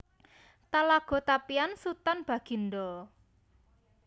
Talago Tapian Sutan Bagindo